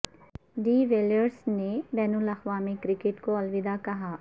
D Villiers نے بین الاقوامی کرکٹ کو الوداع کہا